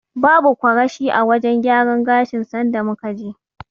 Babu kwarashi a wajen gyaran gashin sanda muka je.